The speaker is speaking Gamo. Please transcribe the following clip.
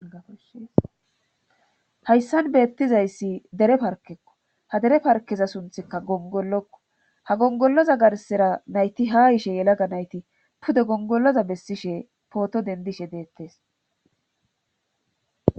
Hayssan beettizayssi dere parkekko ha dere parkeza sunthikka gongollokko ha gongolloza garsera nayti ha ishe yelaga nayti pude gongolloza bessishe pooto dendishe deettes